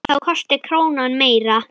Þá kosti krónan meira.